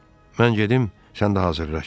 Mən gedim, sən də hazırlaş.